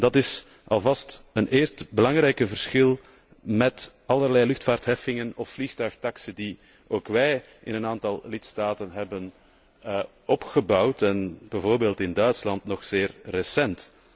En dat is alvast een eerste belangrijk verschil met allerlei luchtvaartheffingen of vliegtuigtaxen die ook wij in een aantal lidstaten hebben ingesteld, bijvoorbeeld in Duitsland nog zeer recent.